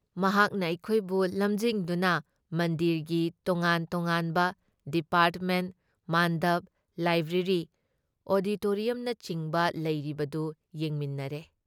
ꯃꯍꯥꯛꯅ ꯑꯩꯈꯣꯏꯕꯨ ꯂꯝꯖꯤꯡꯗꯨꯅ ꯃꯟꯗꯤꯔꯒꯤ ꯇꯣꯉꯥꯟ ꯇꯣꯉꯥꯟꯕ ꯗꯤꯄꯥꯔꯠꯃꯦꯟꯠ, ꯃꯥꯟꯗꯞ, ꯂꯥꯏꯕ꯭ꯔꯦꯔꯤ, ꯑꯣꯗꯤꯇꯣꯔꯤꯌꯝꯅꯆꯤꯡꯕ ꯂꯩꯔꯤꯕꯗꯨ ꯌꯦꯡꯃꯤꯟꯅꯔꯦ ꯫